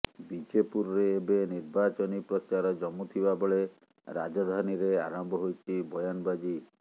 ବିଜେପୁରରେ ଏବେ ନିର୍ବାଚନୀ ପ୍ରଚାର ଜମୁଥିବା ବେଳେ ରାଜଧାନୀରେ ଆରମ୍ଭ ହୋଇଛି ବୟାନବାଜି